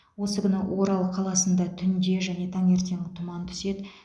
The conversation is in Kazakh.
осы күні орал қаласында түнде және таңертең тұман түседі